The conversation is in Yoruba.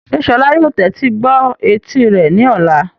Ṣé Sola yóò tẹ́tí gbọ́ etí rẹ̀ ní ọ̀la?